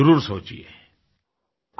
जरुर सोचिये